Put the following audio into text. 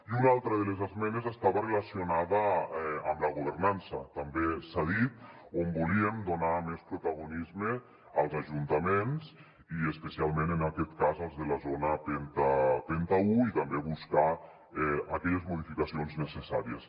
i una altra de les esmenes estava relacionada amb la governança també s’ha dit on volíem donar més protagonisme als ajuntaments i especialment en aquest cas als de la zona penta un i també buscar aquelles modificacions necessàries